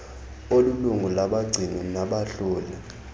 olilungu labagcini nabahloli